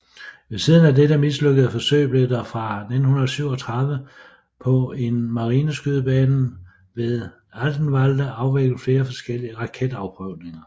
Ved siden af dette mislykkede forsøg blev der fra 1937 på en marineskydebanen ved Altenwalde afviklet flere forskellige raketafprøvninger